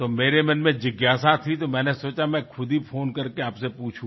तो मेरे मन में जिज्ञासा थी तो मैंने सोचा में खुद ही फ़ोन करके आपसे पूछूँ